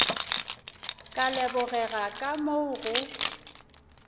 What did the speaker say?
ka lebogega ka moo go